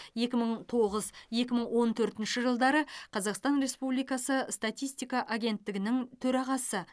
екі мың тоғыз екі мың он төртінші жылдары қазақстан республикасы статистика агенттігінің төрағасы